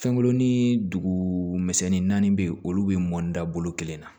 Fɛnkurunnin dugu misɛnnin naani bɛ yen olu bɛ mɔn da bolo kelen na